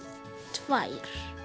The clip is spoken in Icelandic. tvær